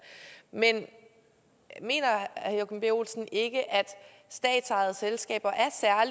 men mener herre joachim b olsen ikke at statsejede selskaber